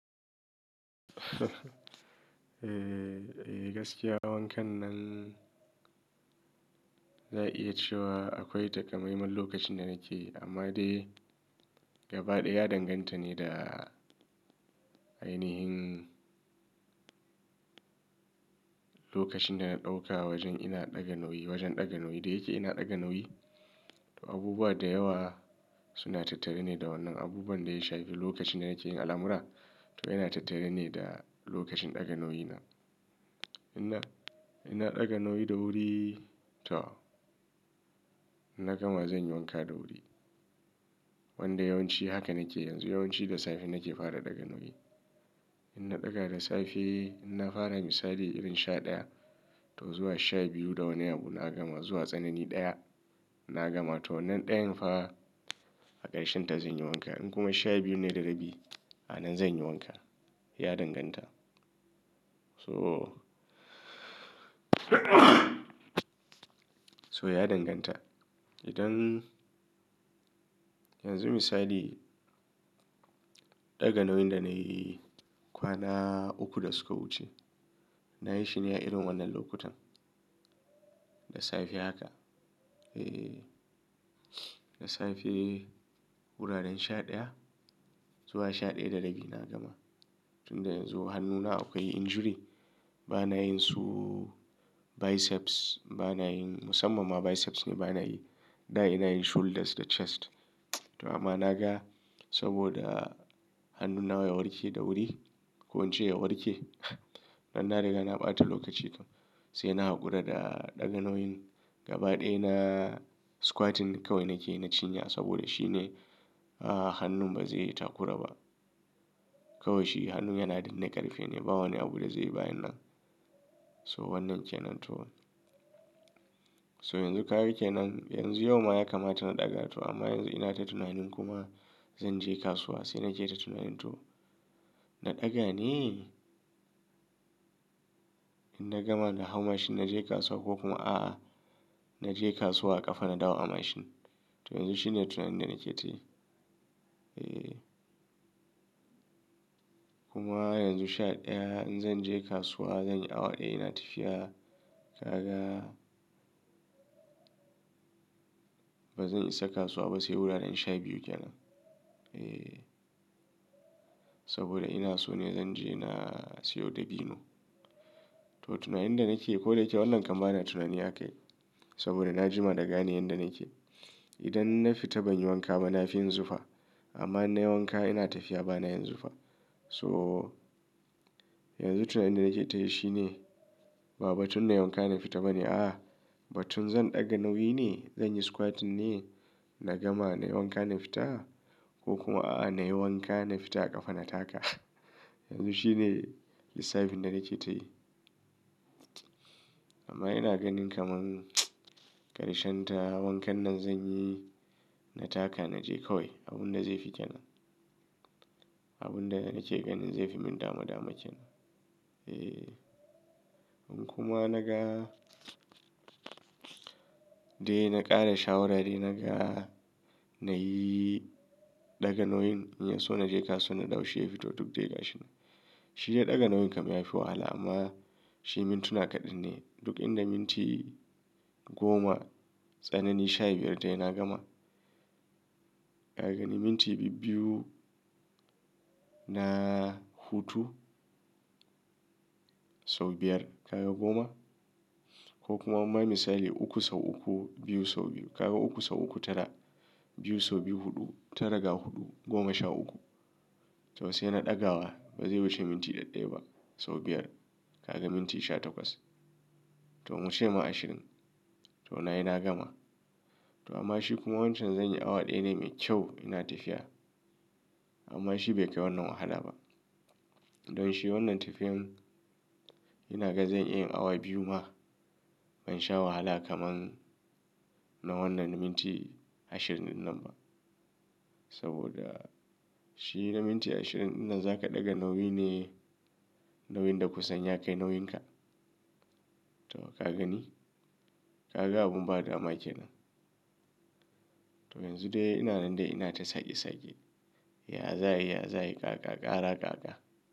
Eh gaskiya wankan nan zan iya cewa akwai takamaiman lokacin da nake yi, amma dai gaba ɗaya ya danganta ne da ainihin lokacin da na ɗauka wajen ina ɗaga nauyi, wajen ɗaga nauyin da yake ina ɗaga nauyi. To abubuwa da yawa suna tattare ne da wannan abubuwan da ya shafi lokacin da nake yin al'amura. To yana tattare ne da lokacin ɗaga nauyi na. In na, in na ɗaga nauyi da wuri to na gama zan yi wanka da wuri. Wanda yawanci haka nake yanzu yawanci da safe nake fara ɗaga nauyi. In na ɗaga da safe, in na fara misali irin sha ɗaya to zuwa sha biyu da wani abu na gama zuwa tsanani ɗaya na gama to wannan ɗayan fa a ƙarshenta zan yi wanka. In kuma sha biyu ne da rabi a nan zan yi wanka. Ya danganta. So so ya danganta. Idan yanzu misali ɗaga nauyin da na yi kwana uku da suka wuce na yi shi ne a irin wannan lokutan da safe haka. Eh da safe wuraren sha ɗaya zuwa sha ɗaya da rabi na gama. Tunda yanzu hannuna akwai injury bana yin su biceps bana yin musamman ma biceps ne bana yi. Na'a ina yin shoulders da chest. To amma na ga saboda hannun nawa ya warke da wuri ko in ce ya warke dan na riga na ɓata lokaci kam. Sai na haƙura da ɗaga nauyin gaba ɗaya na squatting kawai nake na cinya saboda shi ne hannun ba zai yi takura ba. Kawai shi hannun yana da ne ƙarfe ne ba wani abu da zai yi bayan nan. So wannan ke nan to. So yanzu ka gan kenan yanzu yau ma ya kama ta na ɗaga to amma yanzu ina ta tunanin kuma zan je kasuwa sai na je ta tunanin to na ɗaga ne? In na gama da hau mashin na je kasuwa ko kuma a'a na je kasuwa a ƙafa na dawo a mashin. To yanzu shine tunanin da nake tayi. Eh kuma yanzu sha ɗaya in zan je kasuwa zan yi awa ɗaya ina tafiya. Ka ga ba zan isa kasuwa ba sai wuraren sha biyu ke nan. Eh saboda ina so ne zan je na siyo dabino. To tunayin da nake ko da yake wannan kamar ba na tunani aka yi saboda na jima da gane yanda nake. Idan na fita ban yi wanka ba na fi yinn zufa amma na yi wanka ina tafiya ba na yin zufa. So yanzu tunayin da nake tayi shi ne ba batun na yi wanka na fita ba ne a'a batun zan ɗaga nauyi ne? Zan yi squatting ne na gama na yi wanka na fita ko kuma a'a na yi wanka na fita a ƙafa na taka? Yanzu shine lissafin da nake tayi. Amma ina ganin kamar ƙarshenta wankan nan zan yi na taka na je kawai abun da zai fi kenan. Abun da nake ganin zai fi min damadama kenan. Eh in kuma na gan dai na ƙara shawara dai na ga na yi ɗaga nauyin in ya so na je kasuwa na da wuce ya fito duk dai ga shi ne. Shi dai ɗaga nauyin kamar ya fi wahala amma shi min tuna kaɗan ne duk inda minti goma tsanani sha biyar tayi na gama. Ka ga ni minti biyu na hutu sau biyar ka ga goma ko kuma amma misali uku sau uku biyu sau biyu ka ga uku sau uku tara biyu sau biyu huɗu tara ga huɗu goma sha uku. To sai na ɗaga wa ba zai wuce minti ɗaɗɗaya ba sau biyar ka ga minti sha takwas. To mun ce ma ashirin to na yi na gama. To amma shi kuma wancan zan yi awa ɗaya dai mai kyau ina tafiya amma shi bai kai wannan wahala ba. Don shi wannan tafiyan ina ganin zan iya yin awa biyu ma ban sha wahala kamar na wannan na minti ashirin ɗin nan ba saboda shi na minti ashirin ina za ka ɗaga nauyi ne nauyin da kusan ya kai nauyinka. To ka gani? Ka ga abin ba dama kenan? To yanzu dai ina nan dai ina ta sake sake. Ya za yi? Ya za yi? Ka ga ƙara ka ga.